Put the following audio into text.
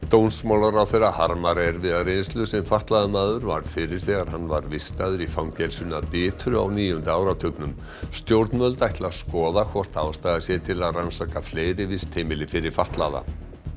dómsmálaráðherra harmar erfiða reynslu sem fatlaður maður varð fyrir þegar hann var vistaður í fangelsinu að Bitru á níunda áratugnum stjórnvöld ætla að skoða hvort ástæða sé til að rannsaka fleiri vistheimili fyrir fatlaða